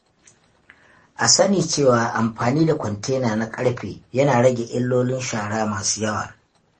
A sani cewa, amfani da kwantena na ƙarfe yana rage illolin shara masu yawa.